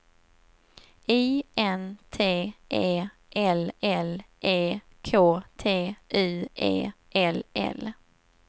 I N T E L L E K T U E L L